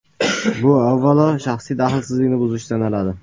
Bu avvalo, shaxsiy daxlsizlikni buzish sanaladi.